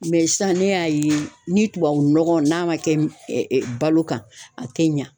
sisan ne y'a ye ni tubabu nɔgɔ n'a ma kɛ balo kan a tɛ ɲa.